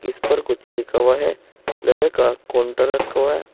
इस पर कुछ लिखो है। लोहे का काउंटर रखो है।